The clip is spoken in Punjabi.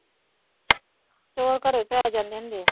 ਚੋਰ ਘਰੇ ਪੈ ਜਾਂਦੇ ਹੁੰਦੇ ਹੈ।